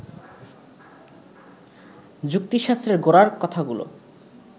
যুক্তিশাস্ত্রের গোড়ার কথাগুলো